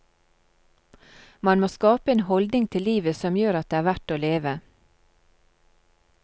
Man må skape en holdning til livet som gjør at det er verd å leve.